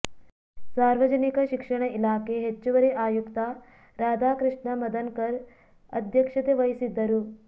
ಸಾರ್ವಜನಿಕ ಶಿಕ್ಷಣ ಇಲಾಖೆ ಹೆಚ್ಚುವರಿ ಆಯುಕ್ತ ರಾಧಾಕೃಷ್ಣ ಮದನಕರ್ ಅಧ್ಯಕ್ಷತೆ ವಹಿಸಿದ್ದರು